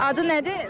Adı nədir?